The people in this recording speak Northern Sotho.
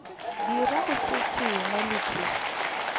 dirago se sengwe le se